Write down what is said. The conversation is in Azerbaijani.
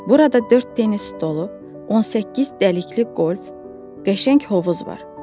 Burada dörd tennis stolu, 18 dəlikli qolf, qəşəng hovuz var.